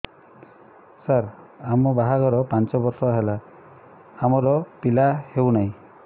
ସାର ଆମ ବାହା ଘର ପାଞ୍ଚ ବର୍ଷ ହେଲା ଆମର ପିଲା ହେଉନାହିଁ